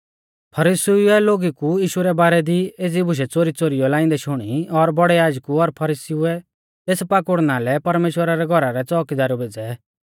फरीसीउऐ लोगु कु यीशु रै बारै दी एज़ी बुशै च़ोरीच़ोरीऔ लाइंदै शुणी और बौड़ै याजकु और फरीसीउऐ तेस पाकुड़ना लै परमेश्‍वरा रै घौरा रै च़ोउकीदार भेज़ै